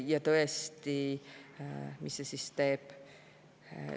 Ja tõesti, mis see siis teeb?